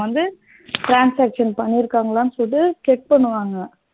வந்து transaction பண்ணியிருக்காங்களான்னு சொல்லி check பண்ணுவாங்க